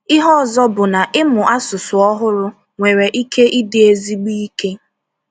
Ihe ọzọ bụ na ịmụ asụsụ ọhụrụ nwere ike ịdị ezigbo ike.